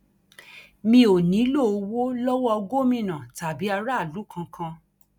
mi ò nílò owó lowó gómìnà tàbí aráàlú kankan